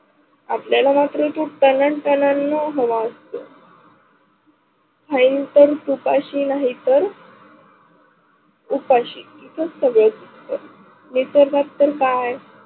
आपल्याला मात्र तो कना कनाना हवा असतो. खाहिलं तर तुपाशी नही तर उपासी सगळेच निसर्ग चे काय